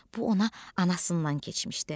Bu ona anasından keçmişdi.